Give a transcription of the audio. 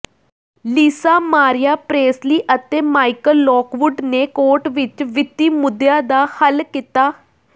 ਲੀਸਾ Marie Presley ਅਤੇ Michael Lockwood ਨੇ court ਵਿਚ ਵਿੱਤੀ ਮੁੱਦਿਆਂ ਦਾ ਹੱਲ ਕੀਤਾ